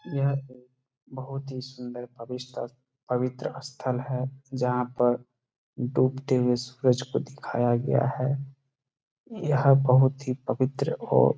यहाँ पर बहुत ही सुंदर पाविस्ट स्थ पवित्र स्थल है जहाँ पर डूबते हुए सूरज को दिखाया गया है यहाँ बहुत ही पवित्र औ --